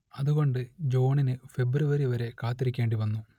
അതുകൊണ്ട് ജോണിന് ഫെബ്രുവരി വരെ കാത്തിരിക്കേണ്ടിവന്നു